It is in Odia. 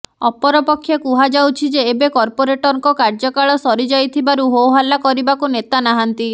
ଅପରପକ୍ଷେ କୁହାଯାଉଛି ଯେ ଏବେ କର୍ପୋରେଟରଙ୍କ କାର୍ଯ୍ୟକାଳ ସରି ଯାଇଥିବାରୁ ହୋହଲ୍ଲା କରିବାକୁ ନେତା ନାହାନ୍ତି